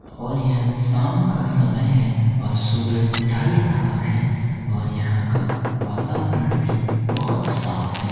और यह शाम का समय है और सूरज ढल रहा है और यहाँ का वातावरण भी बोहोत साफ है।